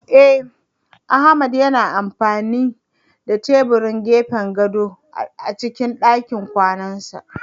Eh Ahmad yana amfani da tebirin gefen gadon a cikin dakin kwanansa